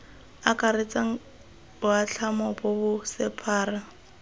akaretsang boatlhamo bo bo sephara